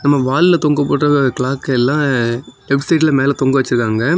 நாம வால்ல தொங்க போட்ருக்கிற கிளாக் எல்லாம் லெப்ட் சைடுல மேல தொங்க வச்சிருக்காங்க.